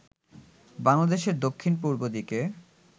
বাংলাদেশের দক্ষিণ-পূর্ব দিকে